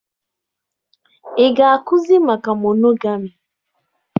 Ị ga-akụzi maka monogami?